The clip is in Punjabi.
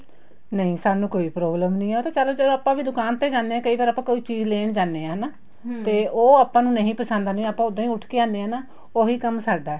ਨਹੀਂ ਸਾਨੂੰ ਕੋਈ problem ਨਹੀਂ ਏ ਚੱਲ ਜਦ ਆਪਾਂ ਵੀ ਦੁਕਾਨ ਤੇ ਜਾਣੇ ਹਾਂ ਕਈ ਵਾਰ ਆਪਾਂ ਕੋਈ ਚੀਜ਼ ਲੈਣ ਜਾਂਨੇ ਆ ਹਨਾ ਤੇ ਉਹ ਆਪਾਂ ਨੂੰ ਨਹੀਂ ਪਸੰਦ ਆਂਦੀ ਆਪਾਂ ਉੱਦਾਂ ਹੀ ਉੱਠ ਕੇ ਆਣੇ ਨਾ ਉਹੀ ਕੰਮ ਹੈ ਸਾਡਾ